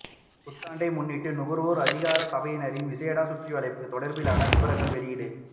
புத்தாண்டை முன்னிட்டு நுகர்வோர் அதிகார சபையினரின் விசேட சுற்றிவளைப்பு தொடர்பிலான விபரங்கள் வெளியீடு